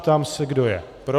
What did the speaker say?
Ptám se, kdo je pro.